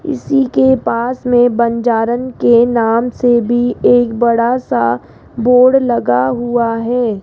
इसी के पास में बंजारन के नाम से भी एक बड़ा सा बोर्ड लगा हुआ है।